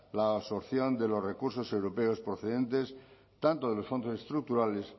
la absorción de los recursos europeos procedentes tanto de los fondos estructurales